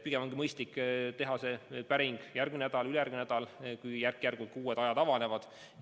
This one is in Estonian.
Pigem ongi mõistlik teha see päring järgmine või ülejärgmine nädal, kui järk-järgult uued ajad avanevad.